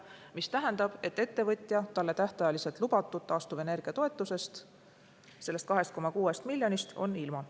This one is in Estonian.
See tähendab, et ettevõtja on talle tähtajaliselt lubatud taastuvenergia toetusest, sellest 2,6 miljonist ilma.